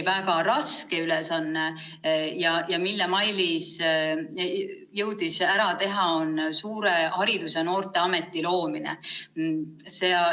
Väga raske ülesanne, mille Mailis jõudis ära teha, on suure haridus- ja noorteameti loomine.